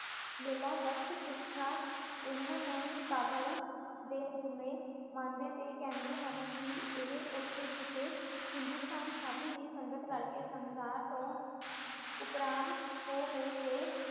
ਮੈਲਾਂ ਬਖ਼ਸ਼ ਕੁਸ਼ਤਾ ਇਨ੍ਹਾਂ ਨੂੰ ਕਾਬਲ ਦੇ ਜੰਮੇ ਮੰਨਦੇ ਅਤੇ ਕਹਿੰਦੇ ਹਨ ਕਿ ਇਹ ਉਥੇ ਕਿਸੇ ਹਿੰਦੁਸਤਾਨੀ ਸਾਧੂ ਦੀ ਸੰਗਤ ਕਰਕੇ ਸੰਸਾਰ ਤੋਂ ਉਪਰਾਮ ਹੋ ਗਏ ਅਤੇ